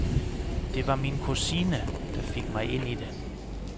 Det var min kusine, der fik mig ind i det.